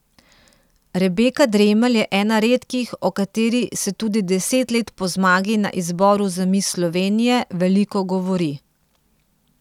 Rebeka Dremelj je ena redkih, o kateri se tudi deset let po zmagi na izboru za mis Slovenije veliko govori.